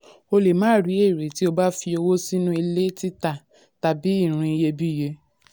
"o lè máà rí èrè tí o bá fi owó sínú ilẹ̀-títà tàbí irin iyebíye."